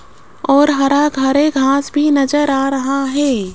और हरा घारे घास भी नजर आ रहा है।